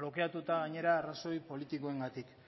blokeatuta gainera arrazoi politikoengatik